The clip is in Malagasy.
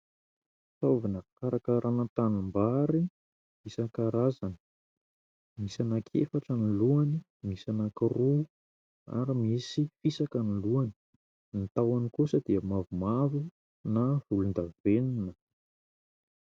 Fitaovana fikarakarana tanimbary isan-karazany, misy anankiefatra ny lohany, misy anankiroa ary misy fisaka ny lohany. Ny tahony kosa dia mavomavo na volondavenona.